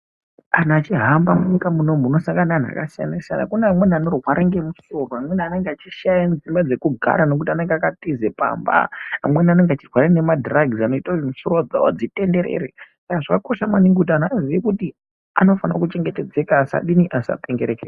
Kana uchihamba munyika mumomu unosangana nemaanhu akasiyana siyana kune amweni anorwara nemusoro amweni Anenge achirwara nemadhiragisi anoita mosoro dzawo dzitenderere zvakaoosha maningi antu azive kuti anofana kuchengetedzeka asapengereke.